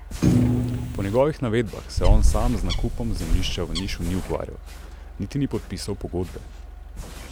Po njegovih navedbah se on sam z nakupom zemljišča v Nišu ni ukvarjal, niti ni podpisal pogodbe.